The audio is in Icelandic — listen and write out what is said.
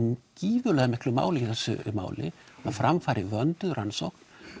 gífurlegu máli í þessu máli að fram fari vönduð rannsókn